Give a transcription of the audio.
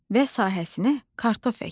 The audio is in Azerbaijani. Və sahəsinə kartof əkdi.